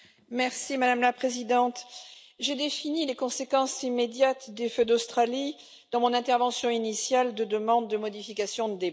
Madame la Présidente, j'ai défini les conséquences immédiates des feux d'Australie dans mon intervention initiale de demande de modification de débat.